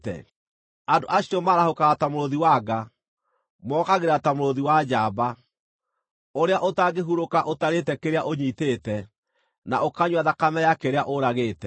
Andũ acio maarahũkaga ta mũrũũthi wa nga; mookagĩra ta mũrũũthi wa njamba, ũrĩa ũtangĩhurũka ũtarĩĩte kĩrĩa ũnyiitĩte, na ũkanyua thakame ya kĩrĩa ũragĩte.”